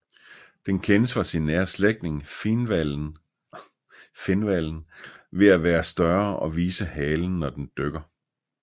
Den kendes fra sin nære slægtning finhvalen ved at være større og vise halen når den dykker